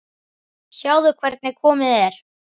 Sjáðu hvernig komið er.